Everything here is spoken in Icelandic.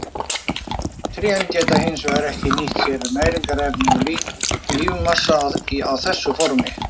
Trén geta hins vegar ekki nýtt sér næringarefni úr lífmassanum á þessu formi.